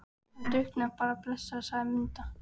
Hann drukknaði bara blessaður, sagði Munda.